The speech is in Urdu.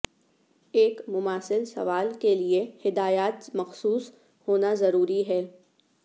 ایک مماثل سوال کے لئے ہدایات مخصوص ہونا ضروری ہے